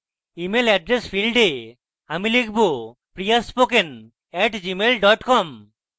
email address field এ আমি লিখব priyaspoken @gmail com